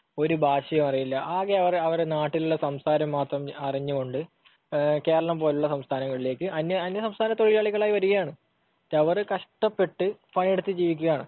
ഒരു ഭാഷയും അറിയില്ല, ആകെ അവർ നാട്ടിലുള്ള സംസാരം മാത്രം അറിഞ്ഞുകൊണ്ട് കേരളം പോലുള്ള സംസ്ഥാനങ്ങളിലേയ്ക്ക് അന്യസംസ്ഥാന തൊഴിലാളികളായി വരികയാണ്. എന്നിട്ടവർ കഷ്ടപ്പെട്ട് പണിയെടുത്തു ജീവിക്കുകയാണ്.